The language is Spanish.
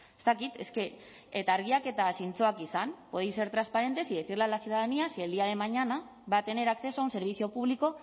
ez dakit es que eta argiak eta zintzoak izan podéis ser transparentes y decirle a la ciudadanía si el día de mañana va a tener acceso a un servicio público